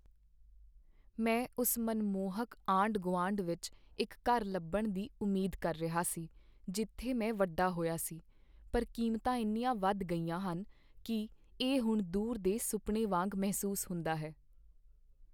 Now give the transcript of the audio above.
ਮੈਂ ਉਸ ਮਨਮੋਹਕ ਆਂਢ ਗੁਆਂਢ ਵਿੱਚ ਇੱਕ ਘਰ ਲੱਭਣ ਦੀ ਉਮੀਦ ਕਰ ਰਿਹਾ ਸੀ ਜਿੱਥੇ ਮੈਂ ਵੱਡਾ ਹੋਇਆ ਸੀ, ਪਰ ਕੀਮਤਾਂ ਇੰਨੀਆਂ ਵਧ ਗਈਆਂ ਹਨ ਕੀ ਇਹ ਹੁਣ ਦੂਰ ਦੇ ਸੁਪਨੇ ਵਾਂਗ ਮਹਿਸੂਸ ਹੁੰਦਾ ਹੈ